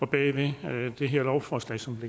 bag det her lovforslag som